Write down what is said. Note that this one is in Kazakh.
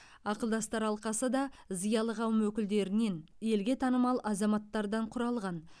ақылдастар алқасы да зиялы қауым өкілдерінен елге танымал азаматтардан құралған